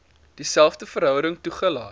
dieselfde verhouding toegelaat